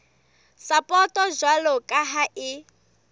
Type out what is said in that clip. sapoto jwalo ka ha e